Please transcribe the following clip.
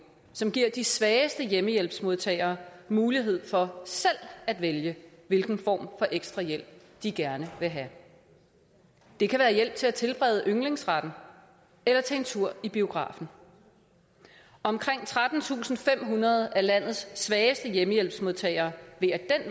som giver de svageste hjemmehjælpsmodtagere mulighed for selv at vælge hvilken form for ekstra hjælp de gerne vil have det kan være hjælp til at tilberede yndlingsretten eller til en tur i biografen omkring trettentusinde og femhundrede af landets svageste hjemmehjælpsmodtagere vil ad